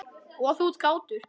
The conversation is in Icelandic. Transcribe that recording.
Og þú ert kátur.